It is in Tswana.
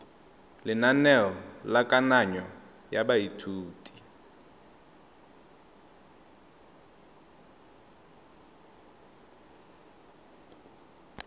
lenaneo la kananyo ya baithuti